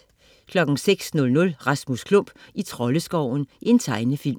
06.00 Rasmus Klump i Troldeskoven. Tegnefilm